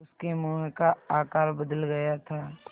उसके मुँह का आकार बदल गया था